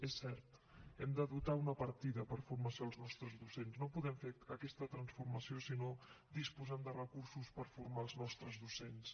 és cert hem de dotar una partida per a formació als nostres docents no podem fer aquesta transformació si no disposem de recursos per formar els nostres docents